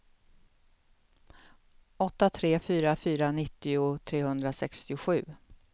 åtta tre fyra fyra nittio trehundrasextiosju